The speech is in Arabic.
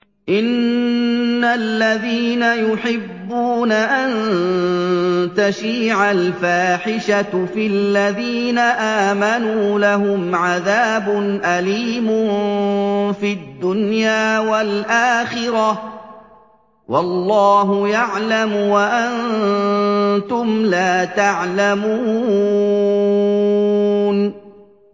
إِنَّ الَّذِينَ يُحِبُّونَ أَن تَشِيعَ الْفَاحِشَةُ فِي الَّذِينَ آمَنُوا لَهُمْ عَذَابٌ أَلِيمٌ فِي الدُّنْيَا وَالْآخِرَةِ ۚ وَاللَّهُ يَعْلَمُ وَأَنتُمْ لَا تَعْلَمُونَ